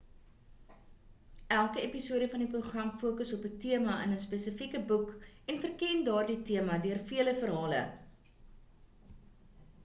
elke episode van die program fokus op 'n tema in 'n spesifieke boek en verken daardie tema deur vele verhale